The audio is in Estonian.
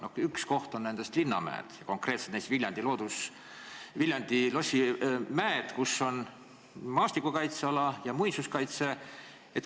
Üks selline koht on linnamäed, konkreetselt näiteks Viljandi lossimäed, kus on maastikukaitseala ja muinsuskaitseala.